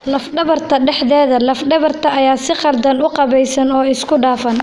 Laf-dhabarta dhexdeeda, laf-dhabarta ayaa si khaldan u qaabaysan oo isku dhafan.